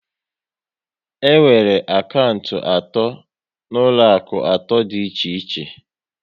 E nwere akantị atọ n'ụlọaku atọ dị iche iche